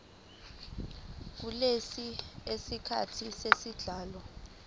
kulesi siqephu esilandelayo